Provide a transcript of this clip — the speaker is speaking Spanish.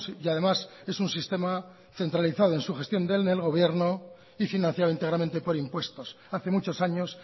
y además es un sistema centralizado en su gestión desde gobierno y financiado íntegramente por impuestos hace muchos años